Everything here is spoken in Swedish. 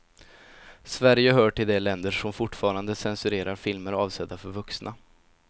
Sverige hör till de länder som fortfarande censurerar filmer avsedda för vuxna.